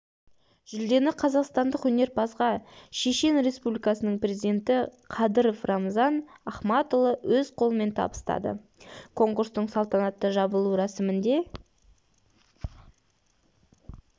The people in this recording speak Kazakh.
жүлдені қазақстандық өнерпазға шешен республикасының президенті қадыров рамзан ахматұлы өз қолымен табыстады конкурстың салтанатты жабылу рәсімінде